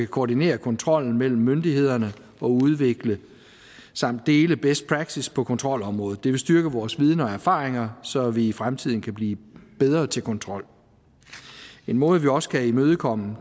koordinere kontrollen mellem myndighederne og udvikle samt dele best practice på kontrolområdet det vil styrke vores viden og erfaringer så vi i fremtiden kan blive bedre til kontrol en måde vi også kan imødegå